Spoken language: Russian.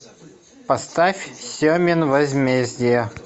поставь семин возмездие